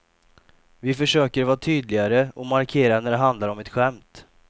Vi försöker vara tydligare och markera när det handlar om ett skämt.